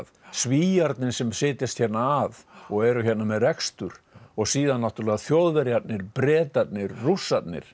Svíarnir sem setjast hérna að og eru hérna með rekstur og síðan náttúrulega Þjóðverjarnir Bretarnir Rússarnir